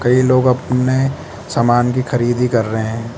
ये लोग अपने सामान की खरीदी कर रहे हैं।